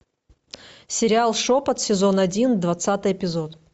сериал шепот сезон один двадцатый эпизод